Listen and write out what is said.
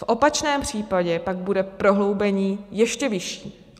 V opačném případě pak bude prohloubení ještě vyšší.